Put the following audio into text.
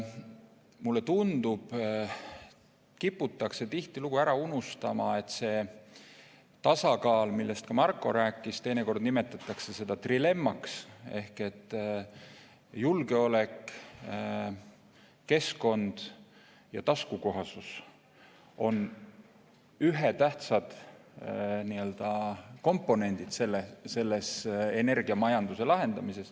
Mulle tundub, et kiputakse tihtilugu ära unustama, et see tasakaal, millest ka Marko rääkis, teinekord nimetatakse seda trilemmaks – ehk siis julgeolek, keskkond ja taskukohasus – on väga tähtsad komponendid selle energiamajanduse lahendamisel.